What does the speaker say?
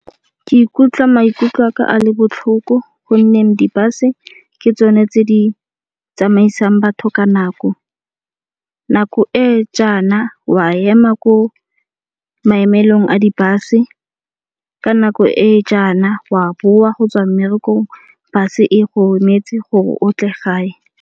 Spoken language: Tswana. Ke ikutlwa maikutlo a ka a le botlhoko gonne di-bus-e ke tsone tse di tsamaisang batho ka nako. Nako e jaana wa ema ko maemelong a di-bus-e ka nako e jaana wa boa go tswa mmerekong bus-e e go emetse gore o tle gae.